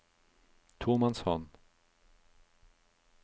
tomannshånd